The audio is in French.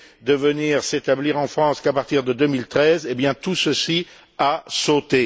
de venir s'établir en France qu'à partir de 2013, eh bien tout ceci a sauté.